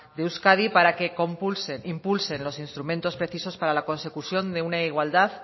de euskadi para que impulsen los instrumentos precisos para la consecución de una igualdad